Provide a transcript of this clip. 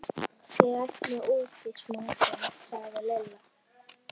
Ég ætla út í smástund, sagði Lilla.